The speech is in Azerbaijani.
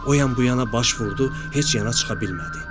O yan bu yana baş vurdu, heç yana çıxa bilmədi.